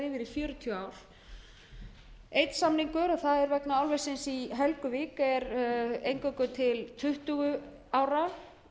fjörutíu ár einn samningur er vegna álversins í helguvík er eingöngu til tuttugu ára